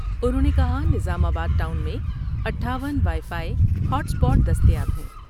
انہوں نے کہا نظام آباد ٹاؤن میں اٹھاون وائی فائی ، ہاٹ اسپاٹ دستیاب ہیں ۔